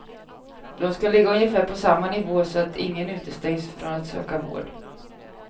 De ska ligga ungefär på samma nivå så att ingen utestängs från att söka vård.